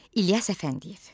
İlyas Əfəndiyev.